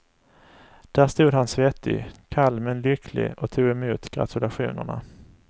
Där stod han svettig, kall men lycklig och tog emot gratulationerna.